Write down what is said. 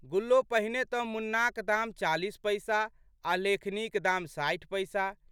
गुल्लो पहिने तऽ मुन्नाक दाम चालीस पैसा आ लेखनीक दाम साठि पैसा।